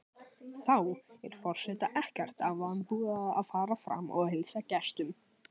Þá er forseta ekkert að vanbúnaði að fara fram og heilsa gestum.